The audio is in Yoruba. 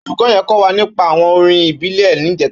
Ólúkò yèn kò wá nípà áwòn órìn ìbílè nijètá